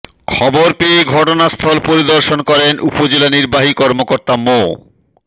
খবর পেয়ে ঘটনাস্থল পরিদর্শন করেন উপজেলা নির্বাহী কর্মকর্তা মো